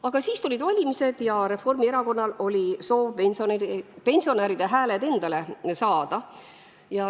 Aga siis tulid valimised ja Reformierakonnal oli soov pensionäride hääled endale saada.